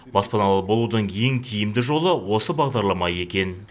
баспаналы болудың ең тиімді жолы осы бағдарлама екен